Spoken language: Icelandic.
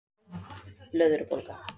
Bráð blöðrubólga